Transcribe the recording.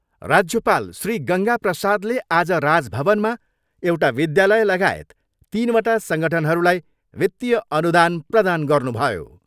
राज्यपाल श्री गङ्गा प्रसादले आज राजभवनमा एउटा विद्यालय लगायत तिनवटा सङ्गठनहरूलाई वित्तिय अनुदान प्रदान गर्नुभयो।